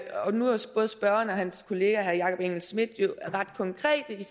både spørgeren og hans kollega herre jakob engel schmidt jo ret konkrete i